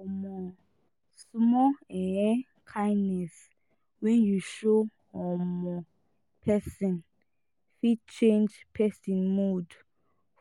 um small um kindness wey you show um person fit change person mood